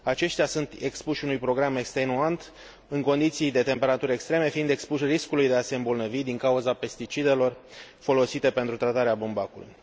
Aceștia sunt expuși unui program extenuant, în condiții de temperaturi extreme, fiind expuși riscului de a se îmbolnăvi, din cauza pesticidelor folosite pentru tratarea bumbacului.